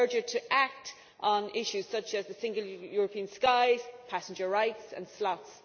But I urge you to act on issues such as the Single European Skies, passenger rights and slots.